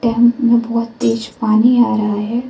में बहोत तेज पानी आ रहा है।